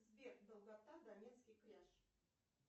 сбер долгота донецкий кряж